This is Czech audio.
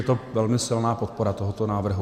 Je to velmi silná podpora tohoto návrhu.